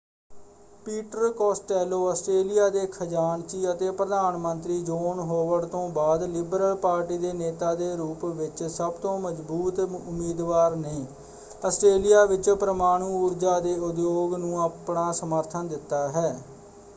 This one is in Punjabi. ਪੀਟਰ ਕੋਸਟੈਲੋ ਆਸਟ੍ਰੇਲੀਆ ਦੇ ਖਜਾਨਚੀ ਅਤੇ ਪ੍ਰਧਾਨ ਮੰਤਰੀ ਜੋਨ ਹੋਵਰਡ ਤੋਂ ਬਾਅਦ ਲਿਬਰਲ ਪਾਰਟੀ ਦੇ ਨੇਤਾ ਦੇ ਰੂਪ ਵਿੱਚ ਸਭ ਤੋਂ ਮਜਬੂਤ ਉਮੀਦਵਾਰ ਨੇ ਆਸਟ੍ਰੇਲੀਆ ਵਿੱਚ ਪਰਮਾਣੂ ਊਰਜਾ ਦੇ ਉਦਯੋਗ ਨੂੰ ਆਪਣਾ ਸਮਰਥਨ ਦਿੱਤਾ ਹੈ।